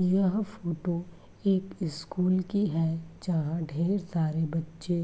यह फ़ोटो एक स्कूल की है जहा ढेर सारे बच्चे